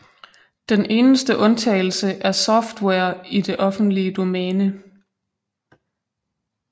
Den eneste undtagelse er software i det offentlige domæne